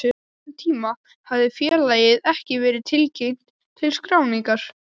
Á þessum tíma hafði félagið ekki verið tilkynnt til skráningar.